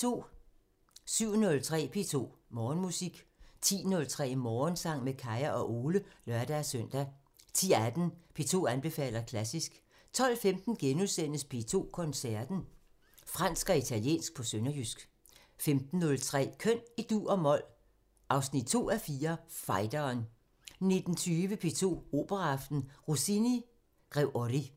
07:03: P2 Morgenmusik 10:03: Morgensang med Kaya og Ole (lør-søn) 10:18: P2 anbefaler klassisk 12:15: P2 Koncerten – Fransk og italiensk på sønderjysk * 15:03: Køn i dur og mol – 2:4 Fighteren 19:20: P2 Operaaften – Rossin: Grev Ory